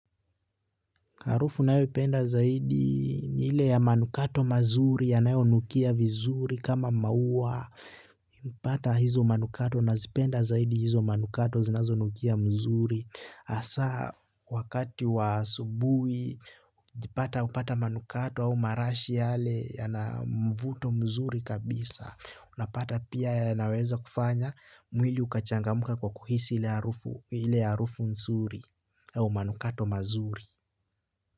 Harufu nayoipenda zaidi ni ile ya manukato mazuri yanayonukia vizuri kama mauwa. Mpata hizo manukato nazipenda zaidi hizo manukato zinazonukia mzuri. Hasa wakati wa asubui jipata upata manukato au marashi yale ya na mvuto mzuri kabisa. Unapata pia yanaweza kufanya mwili ukachangamka kwa kuhisi ile arufu nzuri au manukato mazuri.